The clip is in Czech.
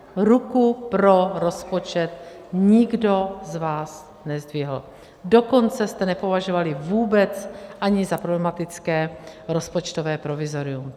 Ruku pro rozpočet nikdo z vás nezdvihl, dokonce jste nepovažovali vůbec ani za problematické rozpočtové provizorium.